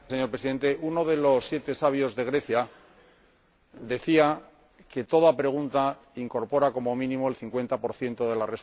Uno de los siete sabios de Grecia decía que toda pregunta incorpora, como mínimo, el cincuenta por ciento de la respuesta.